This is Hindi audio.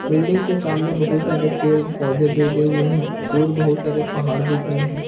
बिल्डिंग के सामने बहुत सारे पेड़ पौधे भी उगे हुए हैं दूर बहुत सारे पहाड़ दिख रहे हैं।